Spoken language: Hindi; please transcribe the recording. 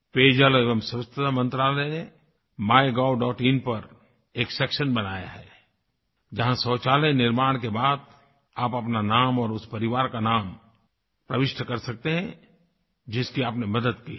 पेयजल एवं स्वच्छता मंत्रालय MyGovइन पर एक सेक्शन बनाया है जहाँ शौचालय निर्माण के बाद आप अपना नाम और उस परिवार का नाम प्रविष्ट कर सकते हैं जिसकी आपने मदद की है